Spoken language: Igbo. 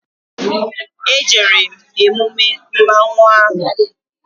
E jere m emume mmanwụ ahụ